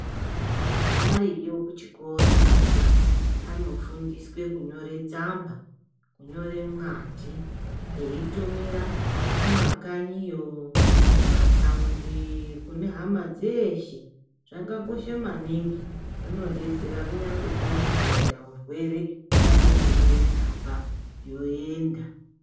Variyo kuchhikora ana ,vanofundiswe kunyore tsamba ,kunyore mwadhi veyitumira kumakanyiyo, kumatawundi, kune hama dzeshe. Zvakakosha maningi zvinodetsera kunyangwe kukanyi kukaita hurwere anongonyore tsamba yoyenda.